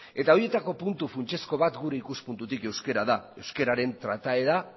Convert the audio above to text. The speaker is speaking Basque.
horietako puntu funtsezko bat gure ikuspuntutik euskara da euskararen trataera